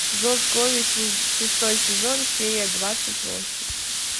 зов крови шестой сезон серия двадцать восемь